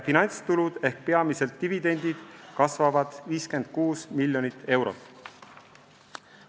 Finantstulud ehk peamiselt dividendid kasvavad 56 miljonit eurot.